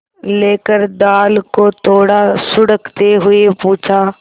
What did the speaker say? लेकर दाल को थोड़ा सुड़कते हुए पूछा